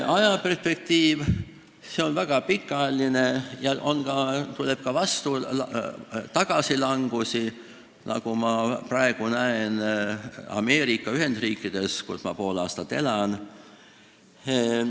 Ajaperspektiiv on väga pikaajaline ja tuleb ka tagasilangusi, nagu ma praegu näen Ameerika Ühendriikides, kus ma poole aastast elan.